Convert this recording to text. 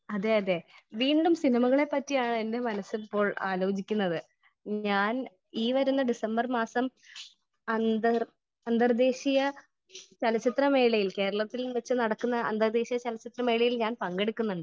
Speaker 1 അതേ അതേ വീണ്ടും സിനിമകളെ പറ്റിയാണ് എന്റെ മനസ്സ് ഇപ്പോൾ ആലോചിക്കുന്നത് . ഞാൻ ഈ വരുന്ന ഡിസംബർ മാസം അന്തർ അന്തർദ്ദേശീയ ചലച്ചിത്ര മേളയിൽ കേരളത്തിൽ വച്ച് നടക്കുന്ന അന്തർദ്ദേശീയ ചലച്ചിത്ര മേളയിൽ ഞാൻ പങ്കെടുക്കുന്നുണ്ട് .